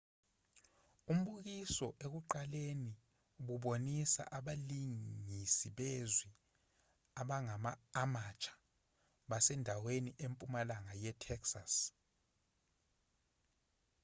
umbukiso ekuqaleni ububonisa abalingisi bezwi abangama-amateur basendaweni empumalanga yetexas